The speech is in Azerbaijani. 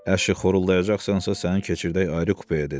Əşi xoruldayacaqsansa səni keçirdək ayrı kupeyə, dedi.